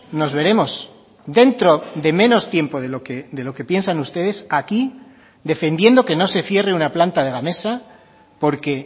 nos veremos dentro de menos tiempo de lo que piensan ustedes aquí defendiendo que no se cierre una planta de gamesa porque